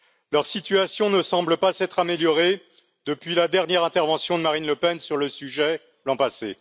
Leur situation ne semble pas s'être améliorée depuis la dernière intervention de Marine Le Pen sur le sujet l'an passé.